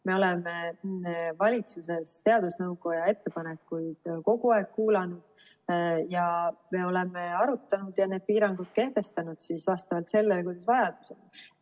Me oleme valitsuses teadusnõukoja ettepanekuid kogu aeg kuulanud ja me oleme arutanud ja need piirangud kehtestanud vastavalt sellele, kuidas vajadus on.